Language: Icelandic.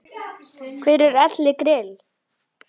Hver er Elli Grill?